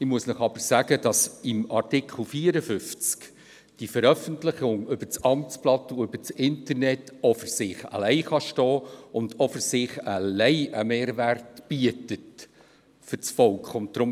Ich muss Ihnen aber sagen, dass in Artikel 54 die Veröffentlichung via Amtsblatt und Internet auch für sich alleine stehen und auch für sich alleine einen Mehrwert für das Volk bieten kann.